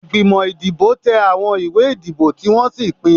Ìgbìmọ̀ ìdìbò tẹ àwọn ìwé ìdìbò tí wọ́n sì pín.